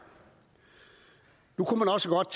nu kunne man også godt